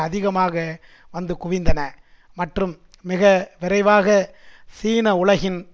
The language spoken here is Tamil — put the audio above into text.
அதிகமாக வந்து குவிந்தன மற்றும் மிக விரைவாக சீன உலகின்